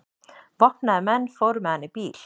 Vopnaðir menn fóru með hann í bíl.